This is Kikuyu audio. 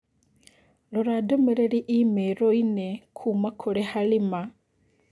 Rora ndũmĩrĩri i-mīrū inĩ kuuma kũrĩ halima.